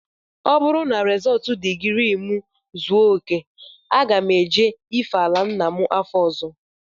Ọ bụrụ na rizọọtụ digrii m zuo okè, aga m eje ife ala nna m afọ ọzọ